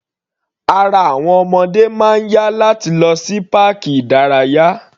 Ara àwọn ọmọdé máa ń yá láti lọ sí páàkì ìdárayá.